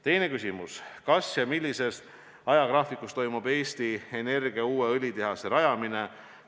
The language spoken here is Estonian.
Teine küsimus: "Kas ja millises ajagraafikus toimub Eesti Energia uue õlitehase rajamine?